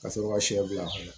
Ka sɔrɔ ka sɛ bil'a kɔnɔ